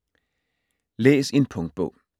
Læs en punktbog